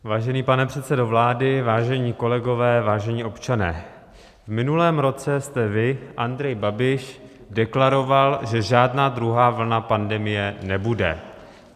Vážený pane předsedo vlády, vážení kolegové, vážení občané, v minulém roce jste vy, Andrej Babiš, deklaroval, že žádná druhá vlna pandemie nebude.